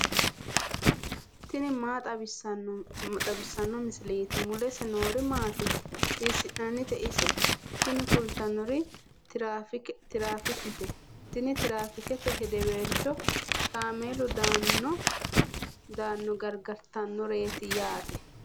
tini maa xawissanno misileeti ? mulese noori maati ? hiissinannite ise ? tini kultannori tiraafiikete. tini tiraafiike hedeweelcho kaameelu dano gargartannoreeti yaate.